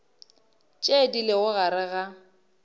tše di lego gare ga